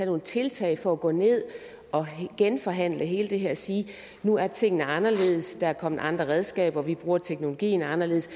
nogle tiltag for at gå ned og genforhandle hele det her og sige at nu er tingene anderledes at der er kommet andre redskaber at vi bruger teknologien anderledes